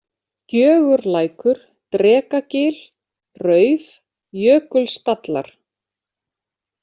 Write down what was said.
Gjögurlækur, Drekagil, Rauf, Jökulstallar